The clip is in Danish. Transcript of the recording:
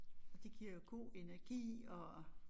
Og det giver jo god energi og